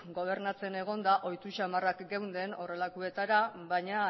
gobernatzen egonda ohitu xamarrak geunden horrelakoetara baina